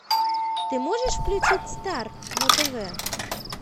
ты можешь включить стар на тв